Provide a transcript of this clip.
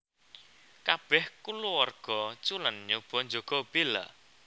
Kabèh kulawarga Cullen nyoba njaga Bella